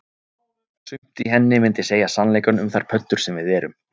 Sumt í henni myndi segja sannleikann um þær pöddur sem við erum